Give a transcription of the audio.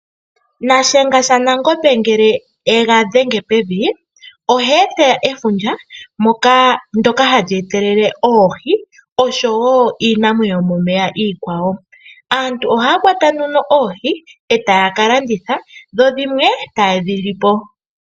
Shiyenga shaNangombe ngele e ga dhenge pevi oha eta efundja ndyoka ha li etelele oohi oshowo iinamwenyo yomomeya iikwawo. Aantu oha ya kwata nduno oohi e taya kalanditha dho dhimwe e taye dhi lipo.